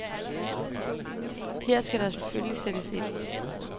Her skal der selvfølgelig sættes ind.